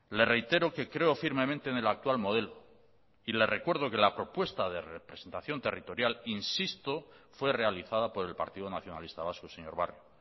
le reitero que creo firmemente en el actual modelo y le recuerdo que la propuesta de representación territorial insisto fue realizada por el partido nacionalista vasco señor barrio